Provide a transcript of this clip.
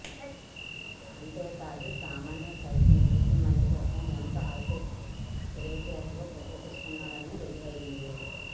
అంతే కాదు సామాన్యులు సైతం ఈజీమనీ కోసం ఎంతో హైటెక్ తెలివితేటలు ప్రదర్శిస్తున్నారని రుజువైంది